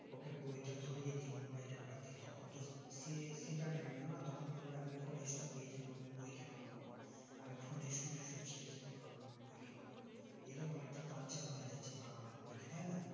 ওকে বই তা ধরিয়ে দিন mobile বাদ দিয়ে তখন তো সেসেটা নেবেনা না তখন বলবে আমি phone এ এই সব পেয়ে যাবো আমি বই কেন পড়বো আমি phone শুনে সব শিখেযেতে পারবো আমি বই কেন আবার পড়বো এইরকম একটা tortured হয়েযাচ্ছে বাবা মায়ের প্রতি তাইনা